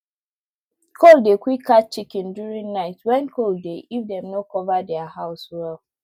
cold dey quick catch chicken during night when cold dey if dem no cover their house well